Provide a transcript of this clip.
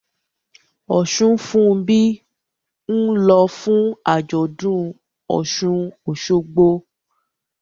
Osunfunbi ń lọ fún àjọ̀dún Osun-Osogbo